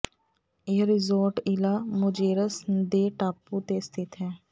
ਇਹ resort Isla Mujeres ਦੇ ਟਾਪੂ ਤੇ ਸਥਿਤ ਹੈ